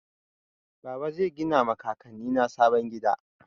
Baba zai gina ma kakanni na sabon gida.